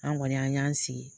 An kɔni an y'an sigi